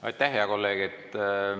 Aitäh, hea kolleeg!